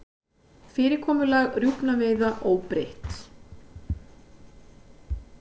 Fyrirkomulag rjúpnaveiða óbreytt